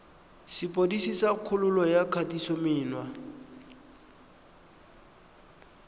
sepodisi sa kgololo ya kgatisomenwa